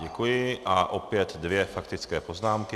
Děkuji a opět dvě faktické poznámky.